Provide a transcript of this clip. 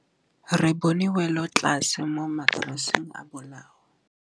Re bone wêlôtlasê mo mataraseng a bolaô.